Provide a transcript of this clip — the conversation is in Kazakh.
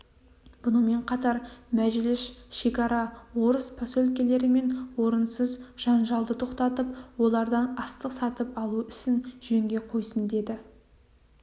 бұнымен қатар мәжіліс шекара орыс поселкелерімен орынсыз жанжалды тоқтатып олардан астық сатып алу ісін жөнге қойсын деді